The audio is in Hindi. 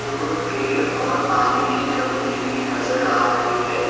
और पेड़ और पानी की टंकी भी नजर आ रही है।